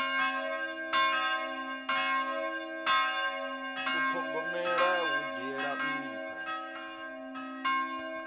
u thogomela hu dzhiela nṱha